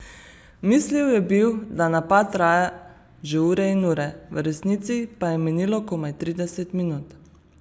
Mislil je bil, da napad traja že ure in ure, v resnici pa je minilo komaj trideset minut.